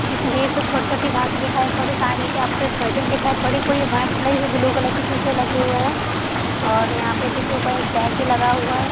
छोटी छोटी घास दिखाई पड़ रही पूरे व्हाइट कलर के ब्लू कलर के शीशे लगे हुए है और यहाँ पे देख एक टैग भी लगा हुआ है।